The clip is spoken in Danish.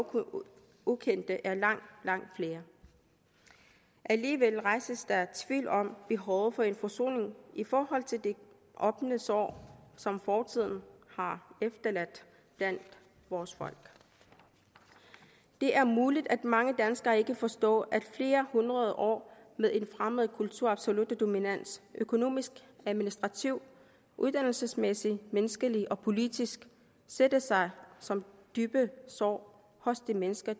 ukendte er langt langt flere alligevel rejses der tvivl om behovet for en forsoning i forhold til de åbne sår som fortiden har efterladt blandt vores folk det er muligt at mange danskere ikke forstår at flere hundrede år med en fremmed kulturs absolutte dominans økonomisk administrativt uddannelsesmæssigt menneskeligt og politisk sætter sig som dybe sår hos de mennesker